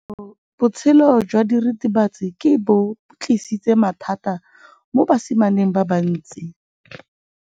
Botshelo jwa diritibatsi ke bo tlisitse mathata mo basimaneng ba bantsi.